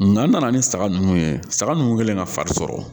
Nga n nana ni saga ninnu ye saga nunnu kɛlen ka fari sɔrɔ